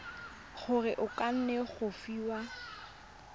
gore o kgone go fiwa